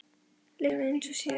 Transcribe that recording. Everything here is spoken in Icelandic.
lykt af höndunum eins og síðast.